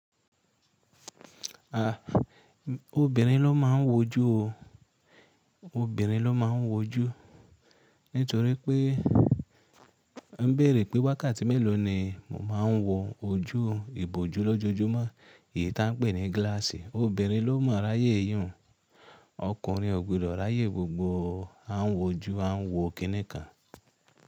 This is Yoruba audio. À, obìnrin ló máa ń woju o. Obìnrin ló máa ń woju nítorí pé a ń bèèrè pé wákàtí mélòó ni mo máa ń wo ojú ìbòjú lójojúmọ́, èyí ta ń pè ní gíláàsì. Obìnrin ló mo ráyé ìhùn, ọkùnrin ò gbodo ráyè gbogbo o. A ń woju, a ń wo kiní kan.